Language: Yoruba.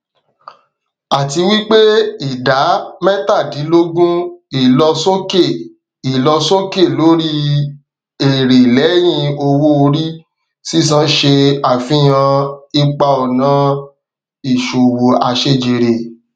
àtiwípé ìdá métàdínlógún ìlọsókè ìlọsókè lórí èrè lẹhìn owóorí sísan ṣe àfihàn ipaọnà ìṣòwò àṣẹjèrè